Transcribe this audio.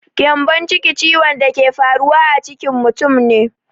Gyambonciki ciwon da ke faruwa a ciki mutum ne.